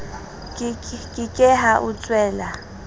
ke ke ha o tswela